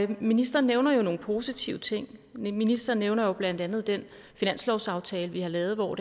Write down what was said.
ministeren nævner jo nogle positive ting ministeren nævner blandt andet den finanslovsaftale vi har lavet hvor